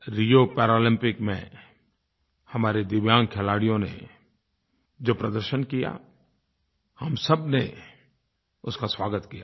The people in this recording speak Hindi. रियो पैरालम्पिक्स में हमारे दिव्यांग खिलाड़ियों ने जो प्रदर्शन किया हम सबने उसका स्वागत किया था